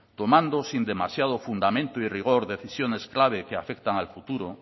tomando sin demasiado fundamento y rigor decisiones claves que afectan al futuro